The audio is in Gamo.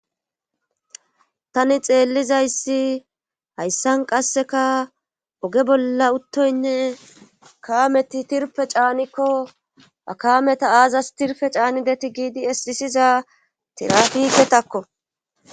Tani xeellizayssi hayssan qasseka oge bolla uttoynne kaameti tirpe caanikko akameta aazas tirfe caanideti giidi esxisiza tirafiketakko